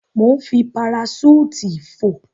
Mò ń fi paraṣúùtì fò.